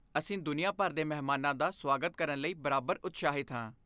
ਅਸੀਂ ਦੁਨੀਆ ਭਰ ਦੇ ਮਹਿਮਾਨਾਂ ਦਾ ਸੁਆਗਤ ਕਰਨ ਲਈ ਬਰਾਬਰ ਉਤਸ਼ਾਹਿਤ ਹਾਂ।